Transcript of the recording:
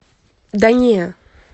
да не